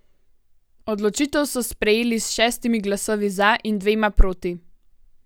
Odločitev so sprejeli s šestimi glasovi za in dvema proti.